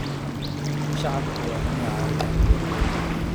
Shacabku waa inay caawiyaan beeralayda.